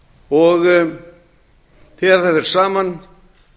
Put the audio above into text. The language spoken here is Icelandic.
og þegar það fer saman